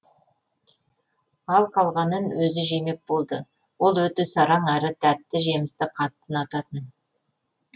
ал қалғанын өзі жемек болды ол өте сараң әрі тәтті жемісті қатты ұнататын